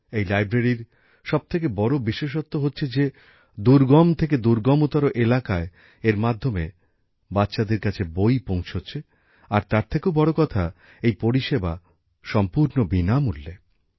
এই লাইব্রেরীর সব থেকে বড় বিশেষত্ব হচ্ছে যে দুর্গম থেকে দুর্গমতর এলাকায় এর মাধ্যমে বাচ্চাদের কাছে বই পৌঁছচ্ছে আর তার থেকেও বড় কথা এই পরিষেবা সম্পূর্ণ বিনামূল্যে